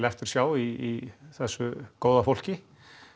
eftirsjá í þessu góða fólki